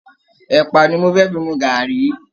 Ẹ̀pà ni mo fẹ́ fi mu gàárì